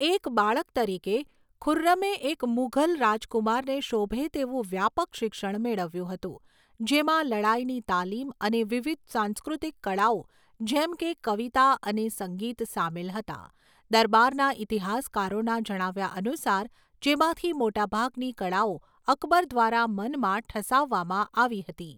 એક બાળક તરીકે, ખુર્રમે એક મુઘલ રાજકુમારને શોભે તેવું વ્યાપક શિક્ષણ મેળવ્યું હતું, જેમાં લડાઈની તાલીમ અને વિવિધ સાંસ્કૃતિક કળાઓ જેમ કે કવિતા અને સંગીત સામેલ હતા, દરબારના ઈતિહાસકારોના જણાવ્યા અનુસાર, જેમાંથી મોટાભાગની કળાઓ અકબર દ્વારા મનમાં ઠસાવવામાં આવી હતી.